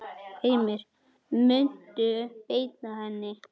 Heimir: Muntu beita henni?